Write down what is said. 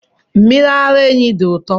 Mmiri ara ehi dị ụtọ.